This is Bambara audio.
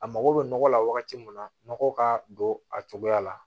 A mago bɛ nɔgɔ la wagati min na nɔgɔ ka don a cogoya la